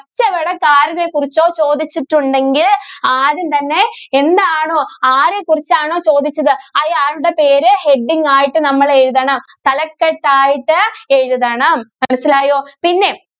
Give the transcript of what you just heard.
കുറിച്ചോ ചോദിച്ചിട്ടുണ്ടെങ്കില്‍ ആദ്യം തന്നെ എന്താണോ, ആരെകുറിച്ചാണോ ചോദിച്ചത് അയാളുടെ പേര് heading ആയിട്ട് നമ്മള് എഴുതണം. തലക്കെട്ടായിട്ട് എഴുതണം. മനസിലായോ?